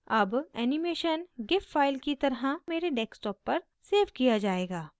अब animation gif file की तरह मेरे desktop पर सेव किया जायेगा